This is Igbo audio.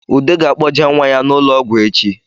Ude ga-akpọje nwa ya n’ụlọọgwụ echi